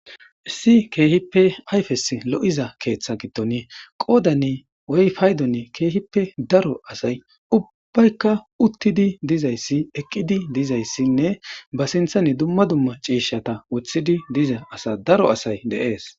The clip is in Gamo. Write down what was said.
issi keehippe ayfes lo7iza keeththa gitton qoodane weyfaydon keehippe daro asay ubbaykka uttidi dizayssi eqqidi dizayssinne ba sinthane dumma dumma ciishata woththidi diza asa daro asay deees